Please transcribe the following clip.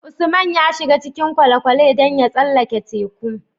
Usman ya shiga cikin kwale kwale dan ya tsallaka teku